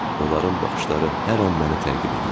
Onların baxışları hər an məni təqib edirdi.